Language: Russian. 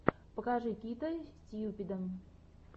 покажи кита стьюпида